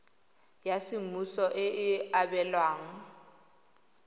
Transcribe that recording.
ya semmuso e e abelwang